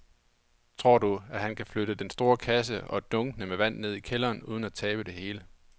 Tror du, at han kan flytte den store kasse og dunkene med vand ned i kælderen uden at tabe det hele?